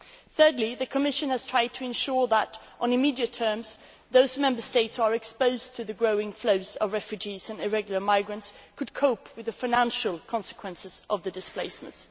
Thirdly, the Commission has tried to ensure that, in the very short term, the Member States exposed to the growing flows of refugees and irregular migrants could cope with the financial consequences of this displacement.